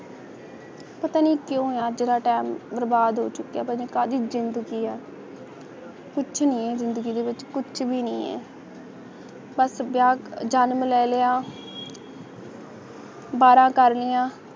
ਪਤਾ ਨਹੀਂ ਕਦੀ ਮੇਰਾ time ਬਰਬਾਦ ਹੋਗਿਆ ਕਦੀ ਜ਼ਿੰਦਗੀ ਹੈ ਕੁਛ ਨਹੀਂ ਜ਼ਿੰਦਗੀ ਦੇ ਵਿਚ ਫਾਸਟ ਬਿਆਨ ਜਨਮ ਲੈ ਲਿਆ ਬੜਾ ਕਾਰਲੀਆਂ